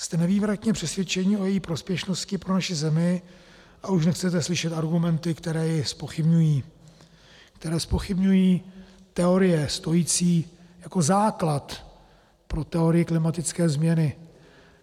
Jste nezvratně přesvědčeni o její prospěšnosti pro naši zemi a už nechcete slyšet argumenty, které ji zpochybňují, které zpochybňují teorie stojící jako základ pro teorii klimatické změny.